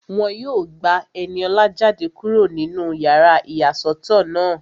Wọ́n yóò gba Ẹniọlá jáde kúrò nínú yàrá ìyàsọ́tọ̀ náà